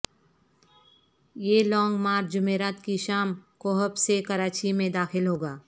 یہ long march جمعرات کی شام کو حب سے کراچی میں داخل ہوگا